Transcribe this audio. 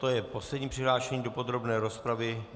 To je poslední přihlášený do podrobné rozpravy.